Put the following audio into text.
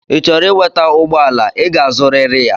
Ichoro weta ụgbọ ala, ị ga-azụrịrị ya